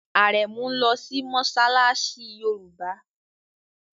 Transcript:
Arẹmu nlò sí Mossalassi yorùbá.